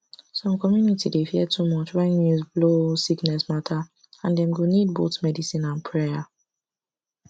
some community dey fear too much when news blow sickness matter and dem go need both medicine and prayer